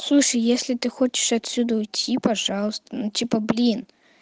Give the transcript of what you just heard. слушай если ты хочешь отсюда уйти пожалуйста ну типа блин